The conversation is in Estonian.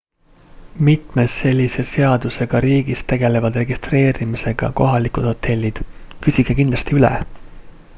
mitmes sellise seadusega riigis tegelevad registeerimisega kohalikud hotellid küsige kindlasti üle